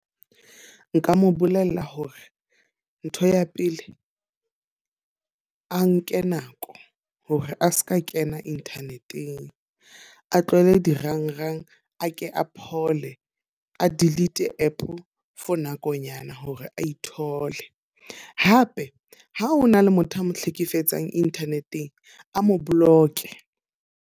Nka mo bolella hore ntho ya pele, a nke nako hore a seka kena internet-eng. A tlohele dirang-rang, a ke a phole, a delete app for nakonyana hore a ithole. Hape ha hona le motho a mo hlekefetsang internet-eng, a mo block-e.